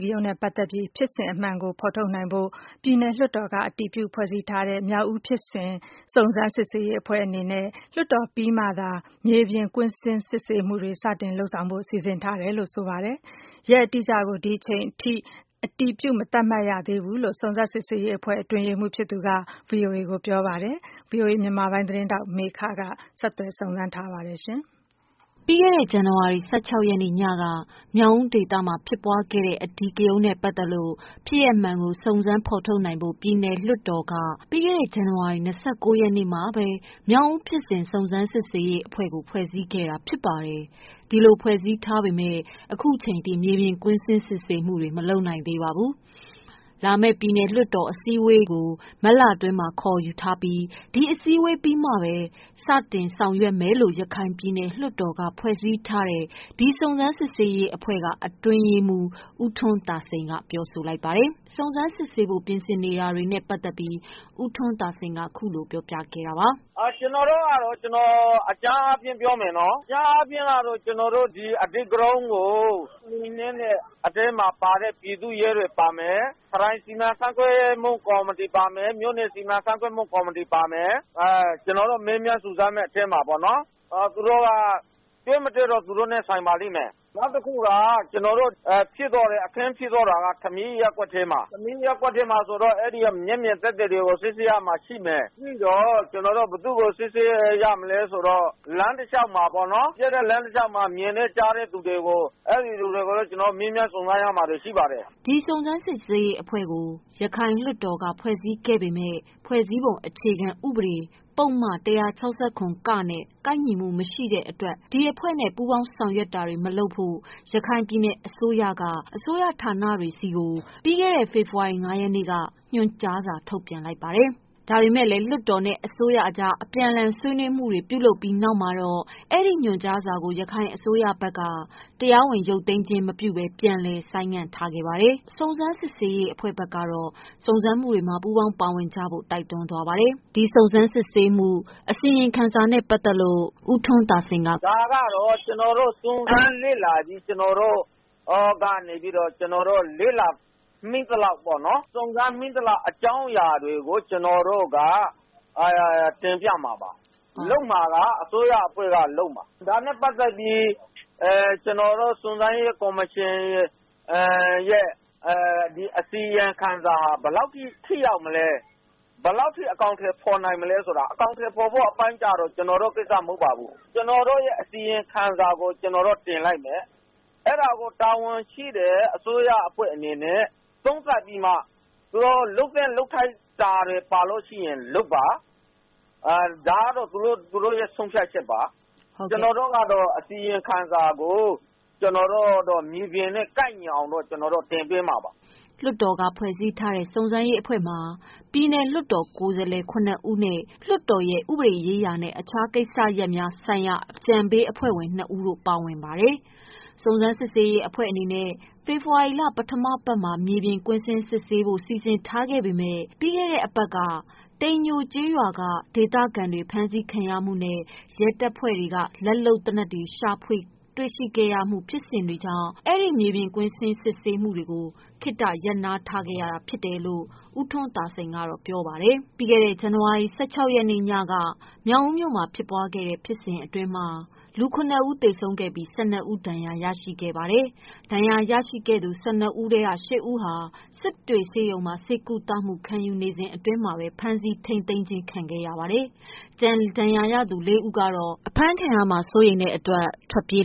ကရုဏ်းနဲ့ ပတ်သက်ပြီး ဖြစ်စဉ်အမှန်ကို ဖော်ထုတ်နိုင်ဖို့ ပြည်နယ်လွှတ်တော်က အတည်ပြုဖွဲ့စည်းထားတဲ့“မြောက်ဦးဖြစ်စဉ် စုံစမ်းစစ်ဆေးရေးအဖွဲ့”အနေနဲ့ လွှတ်တော်ပြီးမှသာ မြေပြင် ကွင်းစစ် ဆေးမှုများစတင် လုပ်ဆောင်ဖို့ စီစဉ်ထားတယ်လို့ ဆိုပါတယ်။ ရက်အတိအကျကို ဒီအချိန်ထိ အတည်ပြု မသတ် မှတ်ရသေးဘူးလို့ စုံစမ်းစစ်ဆေးရေးအဖွဲ့ အတွင်းရေးမှူးဖြစ်သူက ဗွီအိုအေ ကိုပြောပါတယ်။ ဒီသတင်းကို ဗွီအိုအေ မြန်မာပိုင်းကမေခကပေးပို့ထားတာပါ။ ပြီးခဲ့တဲ့ ဇန်နဝါရီလ ၁၆ ရက်နေ့ညက မြောက်ဦးဒေသမှာ ဖြစ်ပွားခဲ့တဲ့ အဓိကရုဏ်းနဲ့ပတ်သတ်လို့ ဖြစ်စဉ်အမှန်ကို ဖော်ထုတ်နိုင်ဖို့ ပြည်နယ်လွှတ်တော်က ပြီးခဲ့တဲ့ ဇန်နဝါရီ ၂၉ ရက်နေ့မှာ “မြောက်ဦးဖြစ်စဉ် စုံစမ်းစစ်ဆေးရေးအဖွဲ့”ကို ဖွဲ့စည်းလိုက်တာ ဖြစ်ပါတယ်။ ဒီလိုဖွဲ့ထားပေမယ့် ခုချိန်ထိ မြေပြင်ကွင်းဆင်း စစ်ဆေးမှုတွေကို မလုပ်နိုင်သေးပါဘူး။ လာမယ့် ပြည်နယ်လွှတ်တော် အစည်းအဝေးပြီးကို မတ်လ တွင်းမှာခေါ်ထားပြီး ဒါပြီးမှပဲ စတင်မယ်လို့ ရခိုင်ပြည်နယ်လွှတ်တော်က ဖွဲ့စည်းထားတဲ့ စုံစမ်းစစ်ဆေးရေးအဖွဲ့က အတွင်းရေးမှုး ဦးထွန်းသာစိန်က စုံစမ်းစစ်ဆေးဖို့ ပြင်ဆင်နေတယ်လို့ပြောပါတယ်။ " ကျနော်တို့ကတော့ အကြမ်းအားဖြင့်ပြောမယ်နော် ဒီအဓိကရုဏ်းကို နှိမ်နင်းတဲ့ အတွင်းမှာ ပါတဲ့ ပြည်သူ့ရဲတွေပါမယ်။ ရခိုင်ပြည်နယ် စီမံခန့်ခွဲမှု ကော်မတီပါမယ် မြို့နယ်စီမံခန့်ခွဲမှု ကော်မတီပါမယ် ကျနော်တို့မေးမြန်းစုံစမ်းမယ့် အထဲမှာပေါ့နော် တွေ့မတွေ့ကတော့ သူတိုနဲ့ဆိုင်ပါလိမ့်မယ် နောက်တခုက အခင်းဖြစ်သွားတာက ရပ်ကွက်ထဲမှာ ဆိုတော့ ရပ်ကွက်ထဲက မျက်မြင်သက်သေတွေကို စစ်ဆေးရမှာရှိတယ်။ ဘယ်သူ့ကို စစ်ဆေးရမလဲဆိုတော့ လမ်းတလျောက်မှာပေါ့နော် ဖြစ်တဲ့အချိန် မြင်တဲ့ကြားတဲ့သူတွေ အဲ့ဒီ့သူတွေကို ကျနော်တို့ မေးမြန်းစုံစမ်းရမှာပေါ့နော်။" ဒီ စုံစမ်းရေးအဖွဲ့ကို ရခိုင်လွှတ်တော်က ဖွဲ့စည်းပေးခဲ့ပေမယ့် ဖွဲ့စည်းပုံအခြေခံဥပဒေ ပုဒ်မ ၁၆၇ (က) နဲ့ ကိုက်ညီမှု မရှိတဲ့အတွက်ဆိုပြီး ဒီအဖွဲ့နဲ့ ပူးပေါင်းဆောင်ရွက် တာတွေ မလုပ်ဖို့ ရခိုင်ပြည်နယ် အစိုးရက အစိုးရဌာနတွေဆီကို ပြီးခဲ့တဲ့ ရက်ပိုင်းက ညွှန်ကြားစာ ထုတ်ပြန်ခဲ့ပါတယ်။ ဒါပေမယ့်လည်း လွှတ်တော်နဲ့ အစိုးရအကြား အပြန်အလှန် ဆွေးနွေးမှုတွေ ပြုလုပ်ပြီးတဲ့နောက်မှာတော့ အဲဒီ ညွန်ကြားစာကို ရခိုင်အစိုးရဘက်က တရားဝင် ရုပ်သိမ်းခြင်း မပြုဘဲ ပြန်လည် ဆိုင်းငံ့ခဲ့ပါတယ်။ စုံစမ်းစစ်ဆေးရေးအဖွဲ့ ဘက်ကတော့ စုံစမ်းမှုမှာ ပူးပေါင်းပါဝင်ကြဖို့ တိုက်တွန်းသွားပါတယ်။ ဒီစုံစမ်းစစ်ဆေးမှု အစီရင်ခံစာနဲ့ပတ်သက်လို့ ဦးထွန်းသာစိန်က- "ဒါကတော့ ကျနော်တို့ စုံစမ်းလေ့လာပြီး လေ့လာမိသလောက် အကြောင်းအရာတွေကို တင်ပြမှာပါ လုပ်မှာက အစိုးရအဖွဲ့က လုပ်မှာ။ ဒါနဲ့ပတ်သက်ပြီး ကျနော်တို့ စုံစမ်းရေးကော်မရှင်ရဲ့ အစီရင်ခံစာဟာ ဘယ်လောက် အကောင်အထည်ဖော်နိုင် မလဲဆိုတော့ အကောင်အထည်ဖော်ဖို့အပိုင်းကျတော့ ကျနော်တို့မဟုတ်ပါဘူး။ ကျနော်တို့ရဲ့ အစီရင်ခံစာကို တင်ပြမယ် အဲ့တာကို တာဝန်ရှိတဲ့အစိုးရအဖွဲ့အနေနဲ့ သူတို့လုပ်သင့်လုပ်ထိုက်တာတွေ ပါလို့ရှိရင် လုပ်ပါ ဒါကတော့ သူတို့ရဲ့ ဆုံးဖြတ်ချက်ပဲ။ ကျနော်တို့ကတော့ အစီရင်ခံစာကို မြေပြင်နဲ့ကိုက်ညီအောင်လို့ တင်သွင်းမှာပါ။" လွှတ်တော်က ဖွဲ့ထားတဲ့ စုံစမ်းရေးအဖွဲ့မှာ ပြည်နယ် လွှတ်တော်ကိုယ်စားလှယ် ၇ ဦးနဲ့ လွှတ်တော်ရဲ့ ဥပဒေရေးရာနဲ့ အခြား ကိစ္စရပ်များဆိုင်ရာ အကြံပေးအဖွဲ့ဝင် ၂ ဦးတို့ ပါဝင်ပါတယ်။ စုံစမ်း စစ်ဆေးရေးအဖွဲ့အနေနဲ့ ဖေဖော်ဝါရီလ ပထမအပတ်မှာ မြေပြင် ကွင်းဆင်း စစ်ဆေးဖို့ စီစဉ်ထားခဲ့ပေမယ့် ပြီးခဲ့တဲ့အပတ်က တိန်ညိုကျေးရွာက ဒေသခံတွေ ဖမ်းဆီးခံနေရမှုနဲ့ ရဲတပ်ဖွဲ့က လက်လုပ်သေနတ် ရှာဖွေမှု ဖြစ်စဉ်များ ဖြစ်ပေါ်ခဲ့တာကြောင့် အဲဒီ မြေပြင်ကွင်းဆင်း စစ်ဆေးမယ့် အစီအစဉ်ကို ရပ်နားထားရတာ ဖြစ်တယ်လို့ ဦးထွန်းသာစိန်က ဆိုပါတယ်။ ပြီးခဲ့တဲ့ဇန်နဝါရီလ ၁၆ ရက်နေ့ညက မြောက်ဦးမြို့မှာ ဖြစ်ပွားခဲ့တဲ့ ဖြစ်စဉ်တွေအတွင်း လူ ၇ ဦး သေဆုံးခဲ့ပြီး ၁၂ ဦး ဒဏ်ရာရှိခဲ့ပါတယ်။ ဒဏ်ရာရသူ ၁၂ ဦးထဲက ၈ ဦးဟာ စစ်တွေဆေးရုံမှာ ဆေးကုသမှု ခံယူနေစဉ် ဖမ်းဆီး ထိန်းသိမ်းခြင်း ခံလိုက်ရပါတယ်။ကျန် ဒဏ်ရာရသူ ၄ဦးကတော့ မြောက်ဦးမြို့ ဆေးရုံမှာ ဆေးကုသမှု ခံယူနေရာက အဖမ်းခံရမှာ စိုးရိမ်တဲ့အတွက် ထွက်ပြေး